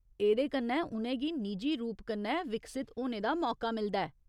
एह्दे कन्नै उ'नें गी निजी रूप कन्नै विकसत होने दा मौका मिलदा ऐ।